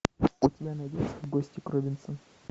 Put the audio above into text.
у тебя найдется в гости к робинсонам